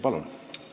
Palun!